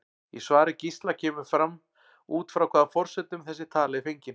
Í svari Gísla kemur fram út frá hvaða forsendum þessi tala er fengin.